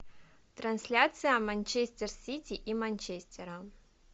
трансляция манчестер сити и манчестера